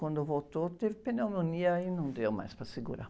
Quando voltou, teve pneumonia e aí não deu mais para segurar.